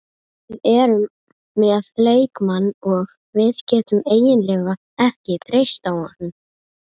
Við erum með leikmann og við getum eiginlega ekki treyst á hann.